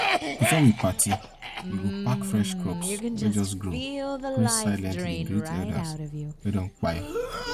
before we party we go pack fresh crops wey just grow pray silently greet elders wey don kpai